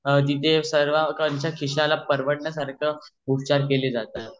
आणि ठीथे सर्वांच्या खिशाला अशा परवडण्यासारखा उपचार अस केल जातो